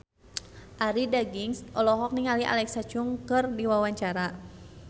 Arie Daginks olohok ningali Alexa Chung keur diwawancara